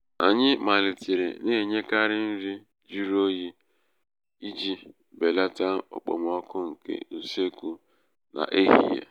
anyị malitere na-enyekarị nri jụrụ oyi iji belata okpomọkụ nke usekwu n'ehihie. n'ehihie.